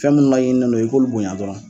Fɛn minnu ma yininen don i k'olu bonyan dɔrɔnw.